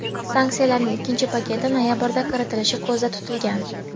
Sanksiyalarning ikkinchi paketi noyabrda kiritilishi ko‘zda tutilgan.